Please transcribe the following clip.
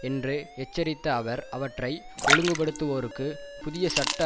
என்று எச்சரித்த அவர் அவற்றை ஒழுங்குபடுத்துவோருக்கு புதிய சட்ட